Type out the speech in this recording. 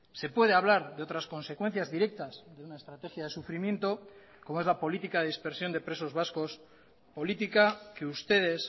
se puede hablar de otras consecuencias directas de una estrategia de sufrimiento como es la política de dispersión de presos vascos política que ustedes